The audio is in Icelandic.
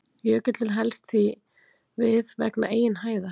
Jökullinn helst því við vegna eigin hæðar.